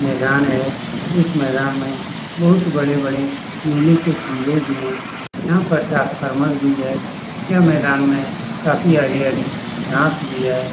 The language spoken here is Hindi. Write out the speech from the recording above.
मैदान है इस मैदान में बहोत बड़े-बड़े मेले के खम्बे भी हैं। यहाँ पर ट्रांसफार्मर भी है। यह मैदान में काफी हरी-हरी घांस भी है।